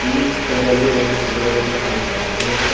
ಈ ಚಿತ್ರದಲ್ಲಿ ಒಂದು ಕುದುರೆಯನ್ನು ಕಾಣಿಸಬಹುದು.